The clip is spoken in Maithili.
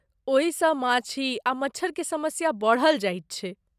ओहिसँ माछी आ मच्छर के समस्या बढ़ल जाइत छै।